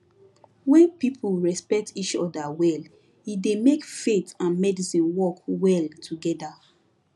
when people respect each other well e dey make faith and medicine work well together